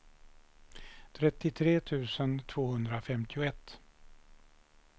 trettiotre tusen tvåhundrafemtioett